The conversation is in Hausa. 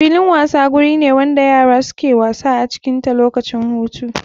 Filin wasa guri wanda yara suke wasa acikin ta lokacin hutu.